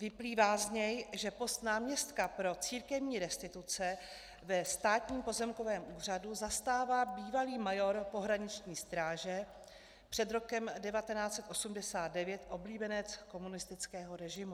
Vyplývá z něj, že post náměstka pro církevní restituce ve Státním pozemkovém úřadu zastává bývalý major pohraniční stráže, před rokem 1989 oblíbenec komunistického režimu.